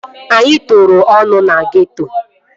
Anyị tokoro ọnụ na geeto